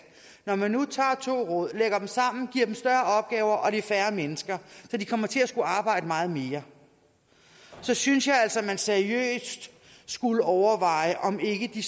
når man nu tager to råd lægger dem sammen giver dem større opgaver og er færre mennesker så de kommer til at skulle arbejde meget mere så synes jeg altså at man seriøst skulle overveje om ikke de